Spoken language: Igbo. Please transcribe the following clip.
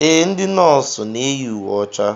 Ee, ndị nọọsụ na-eyi uwe ọcha.